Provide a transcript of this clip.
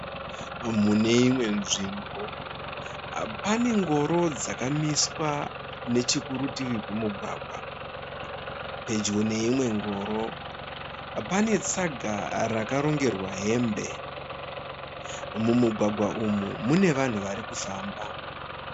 Mune imwe nzvimbo pane ngoro dzakamiswa nechekurutivi kwemugwagwa. Pedyo neimwe ngoro pane tsanga rakarongerwa hembe. Mumugwagwa umu mune vanhu vari kufamba.